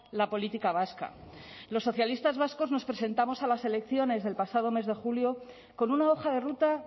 la política vasca los socialistas vascos nos presentamos a las elecciones del pasado mes de julio con una hoja de ruta